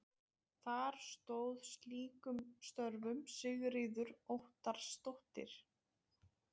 Þar stóð skýrum stöfum Sigríður Óttarsdóttir.